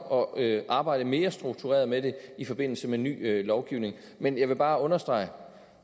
og at arbejde mere struktureret med det i forbindelse med ny lovgivning men jeg vil bare understrege